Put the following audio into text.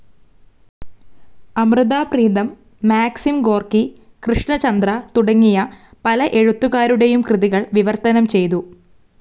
Amrita Pritam, Maxim Gorky, Krishan Chander, തുടങ്ങിയ പല എഴുത്തുകാരുടെയും കൃതികൾ വിവർത്തനം ചെയ്തു.